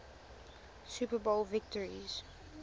super bowl victories